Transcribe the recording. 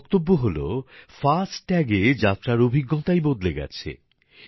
ওঁর বক্তব্য হলো ফাস্ট্যাগ এ যাত্রার অভিজ্ঞতাই বদলে গেছে